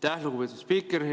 Aitäh, lugupeetud spiiker!